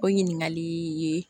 O ɲininkali ye